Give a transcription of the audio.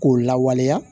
K'o lawaleya